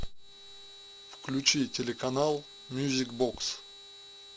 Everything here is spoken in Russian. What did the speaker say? включи телеканал мьюзик бокс